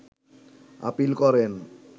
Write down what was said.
appeal করেন